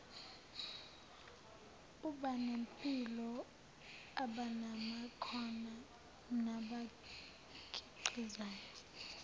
abanempilo abanamakhono nabakhiqizayo